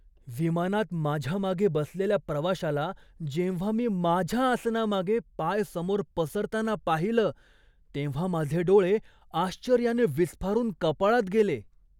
विमानात माझ्या मागे बसलेल्या प्रवाशाला जेव्हा मी माझ्या आसनामागे पाय समोर पसरताना पाहिलं तेव्हा माझे डोळे आश्चर्याने विस्फारून कपाळात गेले.